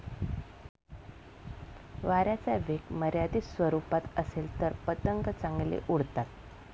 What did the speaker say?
वाऱ्याचा वेग मर्यादित स्वरुपात असेल तर पतंग चांगले उडतात.